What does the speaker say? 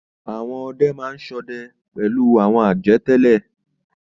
Àwọn ọdẹ máa ń ṣọdẹ pẹ̀lú àwọn ajá tẹ́lẹ̀.